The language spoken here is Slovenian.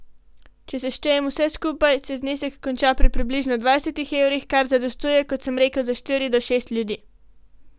Če seštejem vse skupaj, se znesek konča pri približno dvajsetih evrih, kar zadostuje, kot sem rekel, za štiri do šest ljudi.